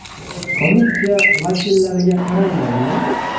Komissiya vakillariga qaraymanmi?